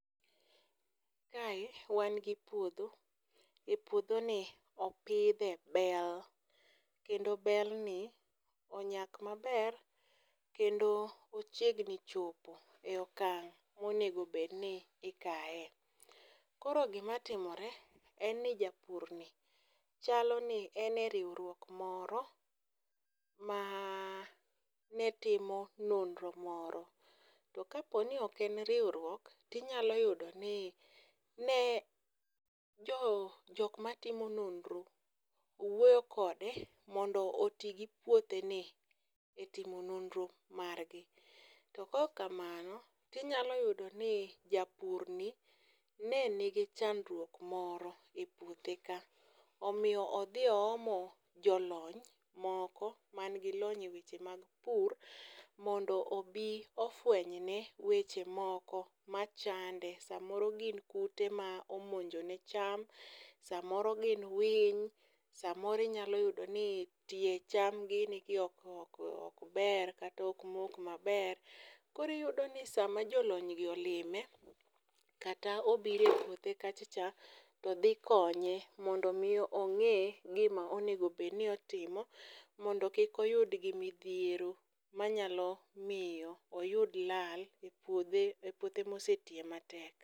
Kae wan gi puodho, e puodho ni opidhe bel kendo bel ni onyak maber. Kendo ochiegni chopo e okang' monegobedbi ikaye. Koro gima timore, en ni japur ni chalo ni ene riwruok moro ma netimo nonro moro. To kaponi ok en riwruok, tinyalo yudo ni ne jok ma timo nonro owuoyo kode mondo oti gi puothe ni e timo nonro margi. To kokamano, tinyalo yudo ni japurni nen nigi chandruok moro e puothe ka. Omiyo odhi oomo jolony moko mn gi lony e weche mag pur mondo obi ofwenyne weche moko machande samoro gin kute ma omonjone cham. Samoro gin winy, samoro inyalo yudo ni tie cham gini gi ok ber kata ok mok maber. Koriyudo ni sama jolony gi olime kata obire puothe kacha cha, to dhi konye mondo mi ong'e gima onegobedni otimo. Mondo kik oyud gi midhiero manyalo miyo oyud lal e puodhe, e puothe mose tiye matek.